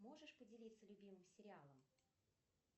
можешь поделиться любимым сериалом